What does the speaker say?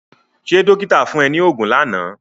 Ṣé dọ́kíta fún ẹ ní oògùn lánàá?